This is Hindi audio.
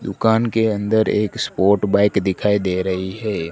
दुकान के अन्दर एक स्पोर्ट बाइक दिखाई दे रही हैं।